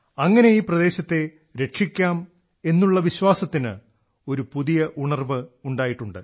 അങ്ങനെ ഈ പ്രദേശത്തെ രക്ഷിക്കാമെന്നുള്ള വിശ്വാസത്തിന് ഒരു പുതിയ ഉണർവ് ഉണ്ടായിട്ടുണ്ട്